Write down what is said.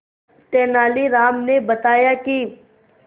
तेनालीराम ने बताया कि